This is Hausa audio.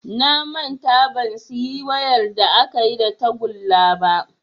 Na manta ban siyi wayar da akayi da tagulla ba